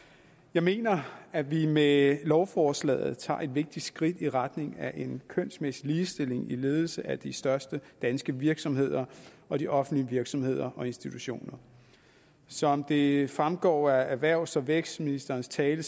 jeg mener at vi med lovforslagene tager et vigtigt skridt i retning af en kønsmæssig ligestilling i ledelsen af de største danske virksomheder og de offentlige virksomheder og institutioner som det fremgår af erhvervs og vækstministerens tale